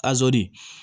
Azi